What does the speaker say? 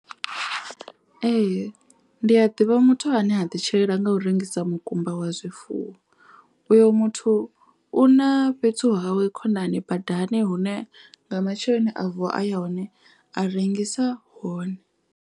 Ee ndi a ḓivha muthu ane a ḓi tshilela nga u rengisa mukumba wa zwifuwo. Uyo muthu u na fhethu hawe khonani badani hune nga matsheloni a vuwa a ya hone a rengisa hone.